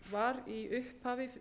var í upphafi